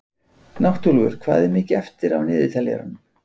Náttúlfur, hvað er mikið eftir af niðurteljaranum?